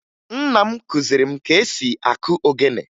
Nna m kụziri m ka esi akụ ogene